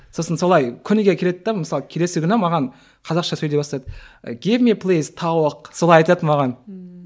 сосын солай күніге келеді де мысалы келесі күні маған қазақша сөйлей бастады солай айтады маған ммм